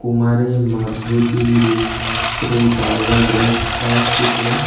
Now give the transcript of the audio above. Kumari Madhuti Rupashree tribal rest হাউসটিতে--